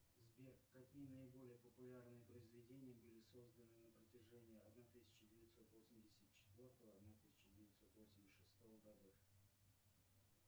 сбер какие наиболее популярные произведения были созданы на протяжении одна тысяча девятьсот восемьдесят четвертого одна тысяч девятьсот восемьдесят шестого годов